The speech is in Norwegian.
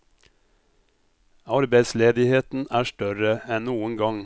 Arbeidsledigheten er større enn noen gang.